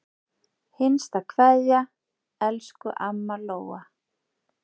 HINSTA KVEÐJA Elsku amma Lóa.